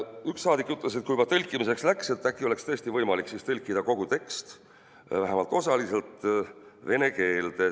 Üks saadik ütles, et kui juba tõlkimiseks läks, siis äkki oleks võimalik tõlkida kogu tekst vähemalt osaliselt vene keelde.